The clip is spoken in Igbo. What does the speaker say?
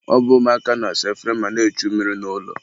ọ bụ ụmụaka na-asa efere ma na-echu mmiri n'ụlọ.